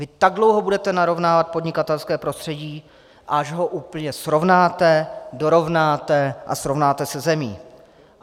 Vy tak dlouho budete narovnávat podnikatelské prostředí, až ho úplně srovnáte, dorovnáte a srovnáte se zemí.